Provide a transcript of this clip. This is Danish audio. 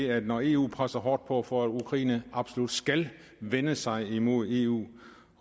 at når eu presser hårdt på for at ukraine absolut skal vende sig hen imod eu